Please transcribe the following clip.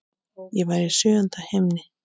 Ég var í sjöunda himni.